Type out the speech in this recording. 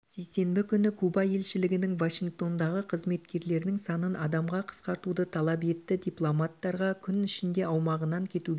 сейсенбі күні куба елшілігінің вашингтондағы қызметкерлерінің санын адамға қысқартуды талап етті дипломаттарға күн ішінде аумағынан кетуге